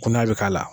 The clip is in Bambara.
Kunaya bɛ k'a la